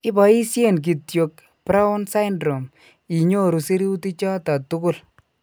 Ipoisien kityok 'brown syndrome inyoru sirutichoton tugul.